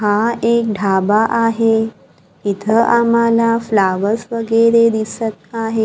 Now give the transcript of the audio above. हा एक ढाबा आहे इथं आम्हाला फ्लॉवर्स वगैरे दिसत आहे.